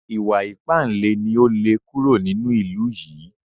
Ìwà ìpánle ni ó lè kúrò nínú ìlú yìí